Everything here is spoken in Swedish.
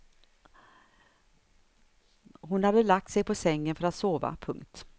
Hon hade lagt sig på sängen för att sova. punkt